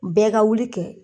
Bɛɛ ka wuli kɛ